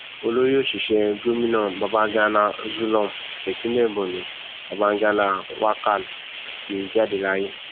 olórí òṣìṣẹ gòmìnà babàgana zulum tipinlẹ borno babagana wakal ti jáde láyé